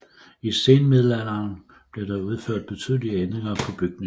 I senmiddelalderen blev der udført betydelige ændringer på bygningen